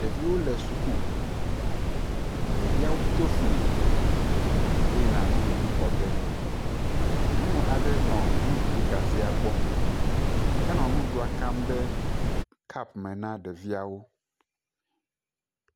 Ɖeviwo le suku. Ɖeviawo to fli yina nuɖuɖu xɔge. Nyɔnu aɖe nɔ nuɖuɖu gazẽa gbɔ. Enɔ nuɖuɖa kam ɖe kɔpu me na ɖeviawo.